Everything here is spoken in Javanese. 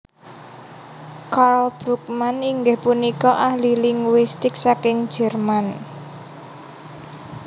Karl Brugmann inggih punika ahli linguistik saking Jerman